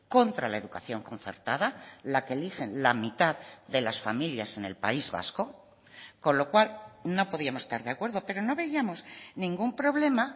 contra la educación concertada la que eligen la mitad de las familias en el país vasco con lo cual no podíamos estar de acuerdo pero no veíamos ningún problema